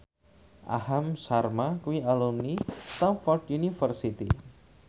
Aham Sharma kuwi alumni Stamford University